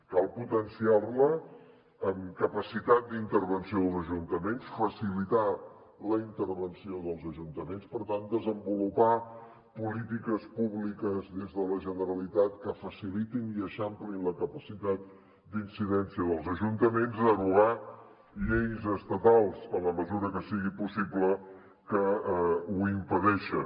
cal potenciar la en capacitat d’intervenció dels ajuntaments facilitar la intervenció dels ajuntaments per tant desenvolupar polítiques públiques des de la generalitat que facilitin i eixamplin la capacitat d’incidència dels ajuntaments derogar lleis estatals en la mesura que sigui possible que ho impedeixen